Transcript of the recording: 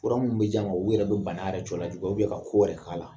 Fura min bɛ di a ma, olu bɛ bana yɛrɛ cɔ lajuguya ka ko yɛrɛ k'a la.